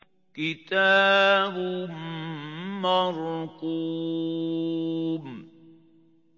كِتَابٌ مَّرْقُومٌ